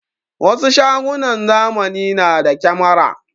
Wasu shagunan zamani na da kyamara.